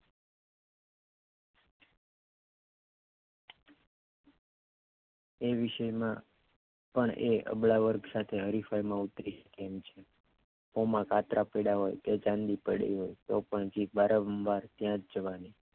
તે વિષયમાં પણ તે અબલા વર્ગ સાથે હરિફાઈમાં ઊતરી તેમ છે હોમે કાતરા પડ્યા હોય કે ચાંદી પડી હોય તો પણ જીભ વારંવાર ત્યાં જ જવાની